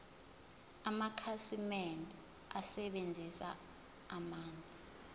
amakhasimende asebenzisa amanzi